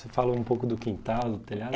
Você falou um pouco do quintal, do telhado?